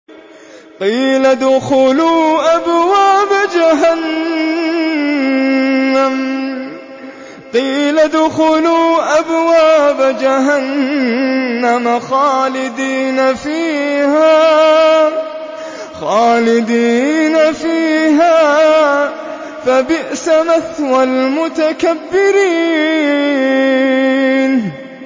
قِيلَ ادْخُلُوا أَبْوَابَ جَهَنَّمَ خَالِدِينَ فِيهَا ۖ فَبِئْسَ مَثْوَى الْمُتَكَبِّرِينَ